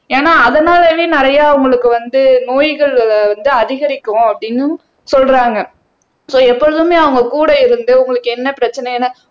ஏன்னா அதனாலேயே நிறைய அவங்களுக்கு வந்து நோய்கள் வந்து அதிகரிக்கும் அப்படின்னும் சொல்றாங்க சோ எப்பொழுதுமே அவங்க கூட இருந்து உங்களுக்கு என்ன பிரச்சனைன்னு